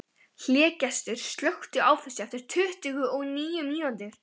Hlégestur, slökktu á þessu eftir tuttugu og níu mínútur.